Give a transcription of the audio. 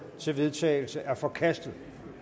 til vedtagelse er forkastet